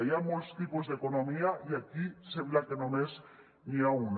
hi ha molts tipus d’economia i aquí sembla que només n’hi ha una